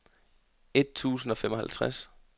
et tusind og femoghalvtreds